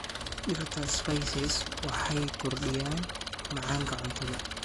Dhirta spices waxay kordhiyaan macaanka cuntada.